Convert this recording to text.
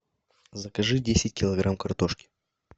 закажи десять килограмм картошки